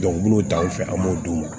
n'u t'anw fɛ an b'o d'u ma